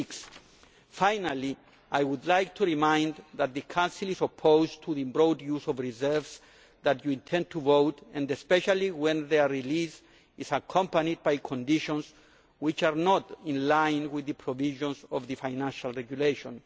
6. Finally, I would like to remind you that the Council is opposed to the broad use of reserves that you intend to vote on, especially when their release is accompanied by conditions which are not in line with the provisions of the Financial Regulation.